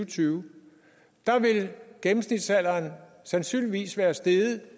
tyve vil gennemsnitsalderen sandsynligvis være steget